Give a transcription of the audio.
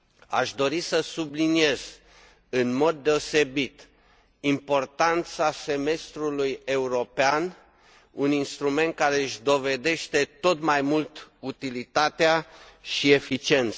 Aș dori să subliniez în mod deosebit importanța semestrului european, un instrument care își dovedește tot mai mult utilitatea și eficiența.